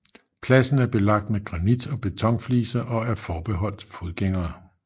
Pladsen er belagt med granit og beton fliser og er forbeholdt fodgængere